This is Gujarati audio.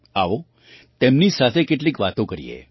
આવો તેમની સાથે કેટલીક વાતો કરીએ